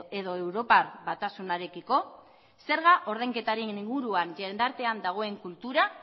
edo europar batasunarekiko zerga ordainketaren inguruan jende artean dagoen kultura